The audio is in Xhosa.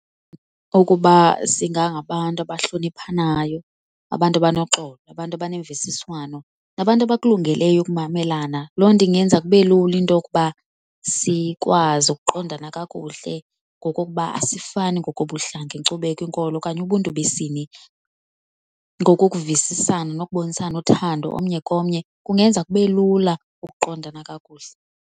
Ukuba singangabantu abahloniphanayo, abantu abanoxolo, abantu abanemvisiswano, abantu abakulungeleyo ukumamelana, loo nto ingenza kube lula into yokuba sikwazi ukuqondana kakuhle ngokokuba asifani ngokobuhlanga, inkcubeko, inkolo okanye ubuNtu besini. Ngokokuvisisana nokubonisana uthando omnye komnye kungenza kube lula ukuqondana kakuhle.